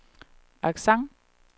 accent